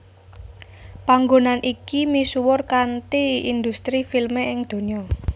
Panggonan iki misuwur kanthi industri filme ing donya